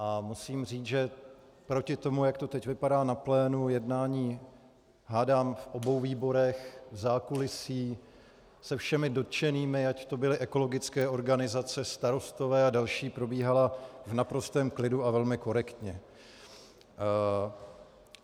A musím říct, že proti tomu, jak to teď vypadá na plénu jednání, hádám v obou výborech, v zákulisí, se všemi dotčenými, ať to byly ekologické organizace, starostové a další, probíhala v naprostém klidu a velmi korektně.